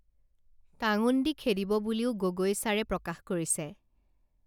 টাঙোন দি খেদিব বুলিও গগৈচাৰে প্ৰকাশ কৰিছে